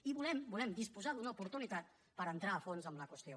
i volem volem disposar d’una oportunitat per entrar a fons en la qüestió